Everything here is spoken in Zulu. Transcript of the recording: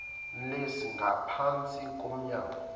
nls engaphansi komnyango